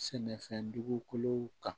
Sɛnɛfɛn dugukolow kan